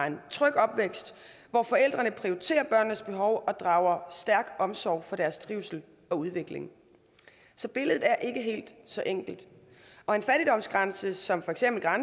en tryg opvækst hvor forældrene prioriterer børnenes behov og drager stærk omsorg for deres trivsel og udvikling så billedet er ikke helt så enkelt og en fattigdomsgrænse som for eksempel